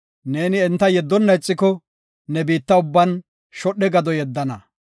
Neeni enta yeddonna ixiko, ne biitta ubban shodhe gado yeddana.